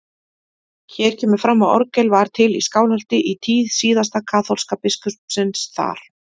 Hér kemur fram að orgel var til í Skálholti í tíð síðasta kaþólska biskupsins þar.